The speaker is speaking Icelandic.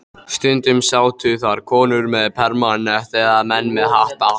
Stundum sátu þar konur með permanent eða menn með hatta.